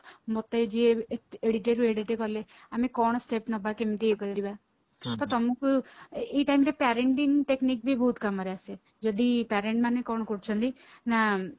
ମତେ ଯିଏ ଏଡିଟେରୁ ଏଡିତେ କଲେ ଆମେ କଣ step ନବା କେମିତେ ଇଏ କଲିବା ତ ତମକୁ parenting technic ବି ବହୁତ କାମରେ ଆସେ ଯଦି parent ମାନେ କଣ କରୁଛନ୍ତି ନା